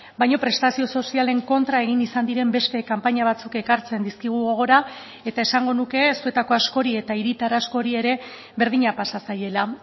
baina prestazio sozialen kontra egin izan diren beste kanpaina batzuk ekartzen dizkigu gogora eta esango nuke zuetako askori eta hiritar askori ere berdina pasa zaiela